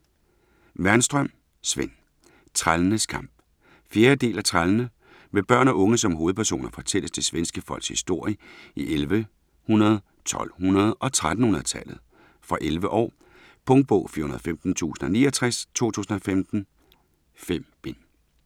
Wernström, Sven: Trællenes kamp 4. del af Trællene. Med børn og unge som hovedpersoner fortælles det svenske folks historie i 1100-, 1200- og 1300-tallet. Fra 11 år. Punktbog 415069 2015. 5 bind.